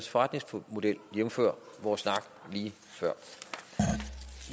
forretningsmodel jævnfør vores snak lige før